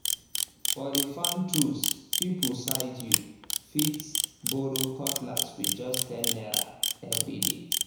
for the farm tools people side you um fit borrow cutlass with just ten naira every day